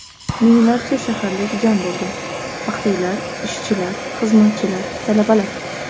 Minglarcha shaharlik jam bo‘lgan: faxriylar, ishchilar, xizmatchilar, talabalar.